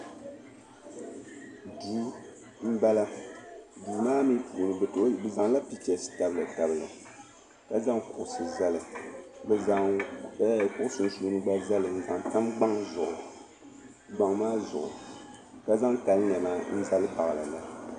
Duu m bala duu maa mi puuni bi zaŋla pichasi n tabili ka zaŋ kuɣusi n zali bi zaŋ kuɣu sunsuuni gba zali n zan tam gbaŋ maa zuɣu ka zaŋ kali nɛma m baɣili li.